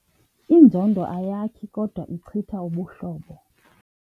Inzondo ayakhi kodwa ichitha ubuhlobo.